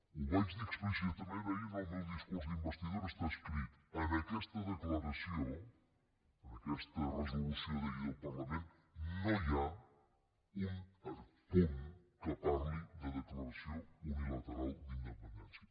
ho vaig dir explícitament ahir en el meu discurs d’investidura està escrit en aquesta declaració en aquesta resolució d’ahir del parlament no hi ha un punt que parli de declaració unilateral d’independència